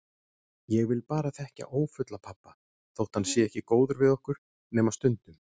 Ég vil bara þekkja ófulla pabba þótt hann sé ekki góður við okkur, nema stundum.